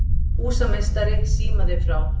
Húsameistari símaði frá